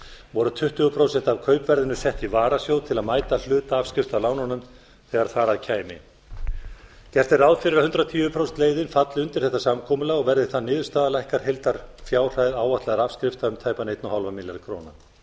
voru tuttugu prósent af kaupverðinu sett í varasjóð til að mæta hluta afskrifta af lánunum þegar þar að kæmi gat er ráð fyrir að hundrað og tíu prósenta leiðin falli undir þetta samkomulag og verði það niðurstaða lækkar heildarfjárhæð áætlaðra afskrifta um tæpan einn og hálfan milljarð króna